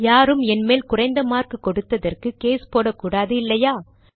யாரும் என் மேல் குறைந்த மார்க் கொடுத்ததற்கு கேஸ் போடக்கூடாது இல்லையா